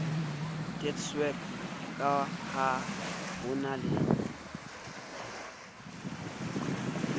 deedsweb ka ha ho na